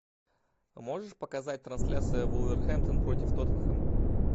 можешь показать трансляцию вулверхэмптон против тоттенхэма